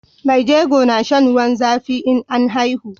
Mai jego na shan ruwan zafi in an haihu